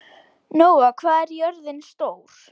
Nóa, hvað er jörðin stór?